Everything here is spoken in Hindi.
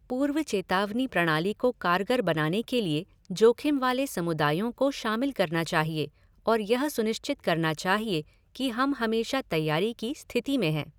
पूर्व चेतावनी प्रणाली को कारगर बनाने के लिए जोखिम वाले समुदायों को शामिल करना चाहिए और यह सुनिश्चित करना चाहिए कि हम हमेशा तैयारी की स्थिति में हैं।